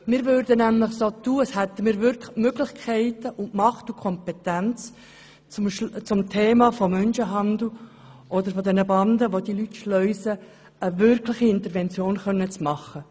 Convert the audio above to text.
Wir täten nämlich so, als hätten wir wirklich die Möglichkeit, die Macht und die Kompetenz, eine wirkliche Intervention zum Thema des Menschenhandels oder bezüglich der Banden, welche die Leute schleusen, zu machen.